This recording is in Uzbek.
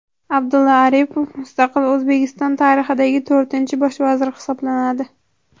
Abdulla Aripov mustaqil O‘zbekiston tarixidagi to‘rtinchi bosh vazir hisoblanadi.